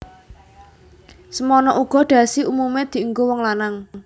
Semana uga dhasi umumé dienggo wong lanang